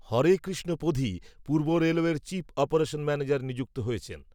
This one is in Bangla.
হরে কৃষ্ণ পধি পূর্ব রেলওয়ের চিফ অপারেশন ম্যানেজার নিযুক্ত হয়েছেন